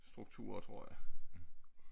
Strukturer tror jeg